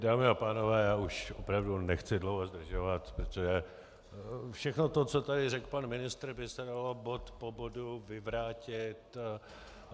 Dámy a pánové, já už opravdu nechci dlouho zdržovat, protože všechno to, co tady řekl pan ministr, by se dalo bod po bodu vyvrátit.